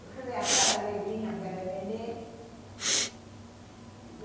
Quer dizer, a cara alegrinha porque era nenê.